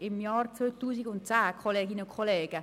» Im Jahr 2010, Kolleginnen und Kollegen!